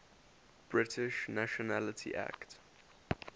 british nationality act